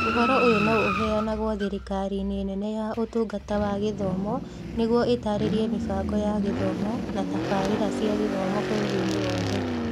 Ũhoro ũyũ no ũheanagwo thirikariinĩ nene ya Ũtungata wa Gĩthomo nĩguo ĩtaarĩrie mĩbango ya gĩthomo na tabarĩra cia gĩthomo bũrũriinĩ wothe.